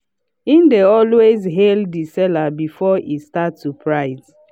he dey always hail the seller before e start to price.